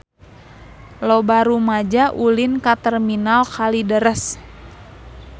Loba rumaja ulin ka Terminal Kalideres